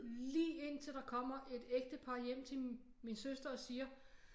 Lige indtil der kommer et ægtepar hjem til min søster og siger